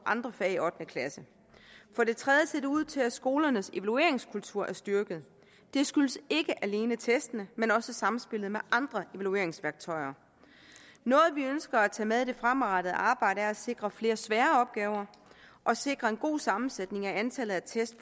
andre fag i ottende klasse for det tredje ser det ud til at skolernes evalueringskultur er styrket det skyldes ikke alene testene men også samspillet med andre evalueringsværktøjer noget vi ønsker at tage med i det fremadrettede arbejde er at sikre flere svære opgaver og sikre en god sammensætning i antallet af test